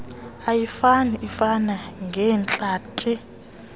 ayifani ifana ngeentlanti